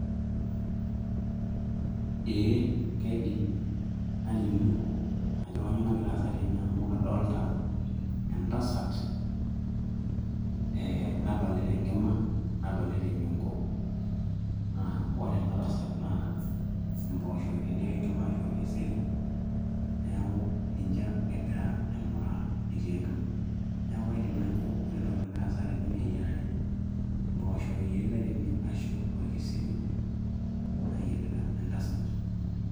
eeh kaidim nalimu ajo kanyio nagiea aasa tene amu kadolta entasat eh, nadolita enkima nadolita enyongo naa ore ena tasat naa impooshoki itelekioo enkima ashu orkeseri neeku ninche egira aing'uraa etii enkima neeku kaidim najo ore entoki nagira aasa tene naa eyiarare impooshok eyieritae tene ashu orkeseri naayierita entasat.